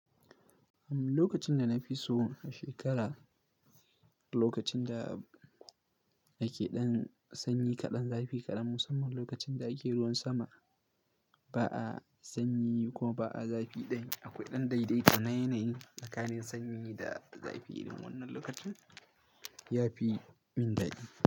Lokacin da na fi so a shekara, lokacin da ake ɗan sanyi kaɗan, zafi kaɗan, musamman lokacin da ake ruwan sama ba a sanyi kuma ba a zafi ɗaya. Akwai ɗan daidaita na yanayi tsakanin sanyi da zafi, irin wannan lokacin ya fi mun dadi.